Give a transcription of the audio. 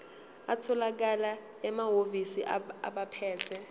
atholakala emahhovisi abaphethe